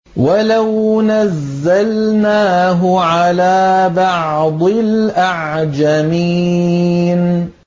وَلَوْ نَزَّلْنَاهُ عَلَىٰ بَعْضِ الْأَعْجَمِينَ